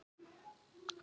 En það er hið rétta.